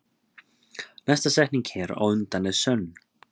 Næsta setning hér á undan er sönn.